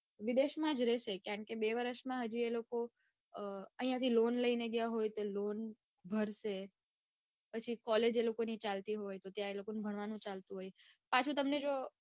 વિદેશમાં જ રે છે કારણકે બે વરસમાં હમ આઇયાથી લોન હોય તો લોન ભરશે પછી college એ લોકો ની ચાલતી હોય તો ત્યાં આગળ તે લોકોને ભણવાનું ચાલતું હોય પાછું જો તમને